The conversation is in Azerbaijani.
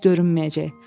Günəş görünməyəcək.